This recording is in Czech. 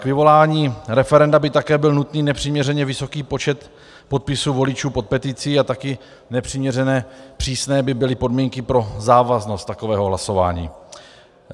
K vyvolání referenda by také byl nutný nepřiměřeně vysoký počet podpisů voličů pod peticí a také nepřiměřeně přísné by byly podmínky pro závaznost takového hlasování.